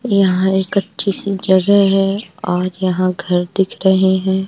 यहां एक अच्छी सी जगह है और यहां घर दिख रहे है।